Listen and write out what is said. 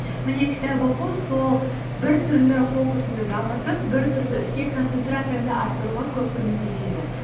міне кітап оқу сол бір түрлі фокусыңды дамытып бір түрлі іске концентрацияңды арттыруға көп көмектеседі